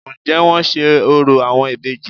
Ǹ jé wọ́n n se orò àwọn ìbejì